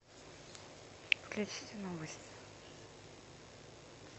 включите новости